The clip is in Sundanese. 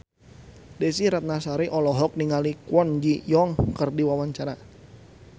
Desy Ratnasari olohok ningali Kwon Ji Yong keur diwawancara